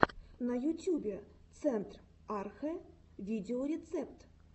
на ютюбе центр архэ видеорецепт